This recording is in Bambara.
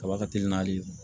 Kaba ka teli n'ale ye